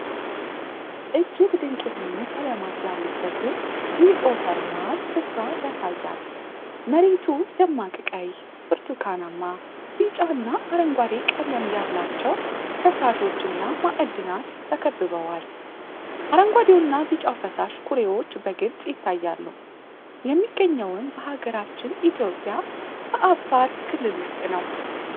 እጅግ ድንቅ የሆኑ ቀለማት ያሉበትን ጂኦተርማል ስፍራ ያሳያል። መሬቱ ደማቅ ቀይ፣ ብርቱካናማ፣ ቢጫ እና አረንጓዴ ቀለም ያላቸው ፈሳሾች እና ማዕድናት ተከብበዋል። አረንጓዴውና ቢጫው ፈሳሽ ኩሬዎች በግልጽ ይታያሉ። የሚገኘውም በ ሀገራችን ኢትዮጵያ በአፋር ክልል ውስጥ ነው።